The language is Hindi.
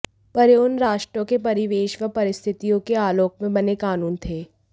पर यह उन राष्ट्रों के परिवेश व परिस्थितियों के आलोक में बने कानून थे